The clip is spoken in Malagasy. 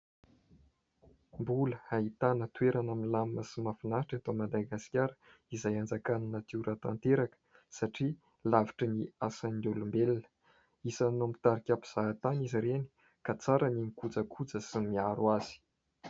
Mbola ahitana toerana milamina sy mahafinaritra eto Madagasikara izay hanjakan'ny natiora tanteraka satria lavitry ny asan'ny olombelona, isany mitarika mpizahatany izy ireny ka tsara ny mikojakoja sy ny miaro azy.